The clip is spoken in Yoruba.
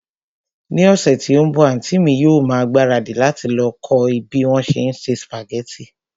Ní ọ̀sẹ̀ tí ó ń bọ̀, àntí mi yóò ma ìgbáradì láti lọ kọ́ bí wón se ń se sùpàgẹ́tì